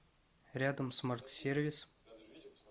рядом смарт сервис